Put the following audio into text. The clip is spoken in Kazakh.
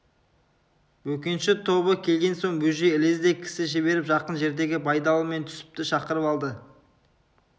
бөкенші тобы келген соң бөжей ілезде кісі жіберіп жақын жердегі байдалы мен түсіпті шақырып алды